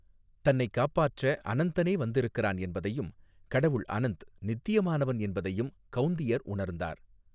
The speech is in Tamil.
தன்னைக் காப்பாற்ற அனந்தனே வந்திருக்கிறான் என்பதையும், கடவுள் அனந்த், நித்தியமானவன் என்பதையும் கௌந்தியர் உணர்ந்தார்.